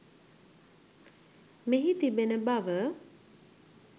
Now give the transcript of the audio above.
මෙහි තිබෙන බව